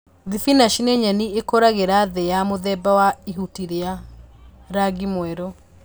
Thibinachi ni nyeni ikũragĩla thĩ ya mũthemba wa ihuti rĩa rangi mwerũ